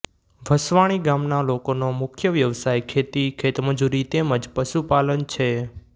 વસવાણી ગામના લોકોનો મુખ્ય વ્યવસાય ખેતી ખેતમજૂરી તેમ જ પશુપાલન છે